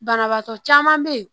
Banabaatɔ caman be ye